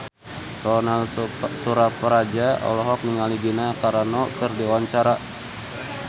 Ronal Surapradja olohok ningali Gina Carano keur diwawancara